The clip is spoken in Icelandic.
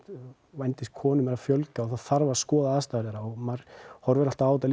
vændiskonum eru að fjölga og það þarf að skoða aðstæður þeirra og maður horfir alltaf á þetta